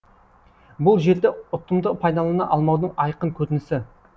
бұл жерді ұтымды пайдалана алмаудың айқын көрінісі